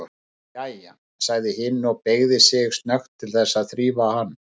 Jæja, sagði hin og beygði sig snöggt til þess að þrífa hann.